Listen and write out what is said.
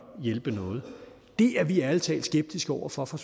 hjælpe noget det er vi ærlig talt skeptiske over for fra